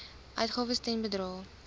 uitgawes ten bedrae